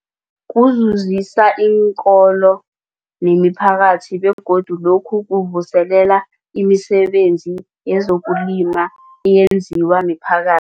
Kuzuzisa iinkolo nemiphakathi begodu lokhu kuvuselela imisebenzi yezokulima eyenziwa miphaka